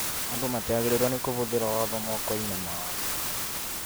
andũ matiagĩrĩĩrwo nĩ kũhũthĩra watho mokoĩni mao.